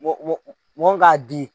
mɔ mɔ mɔ min k'a di.